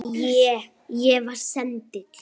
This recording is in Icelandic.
Ég. ég var sendill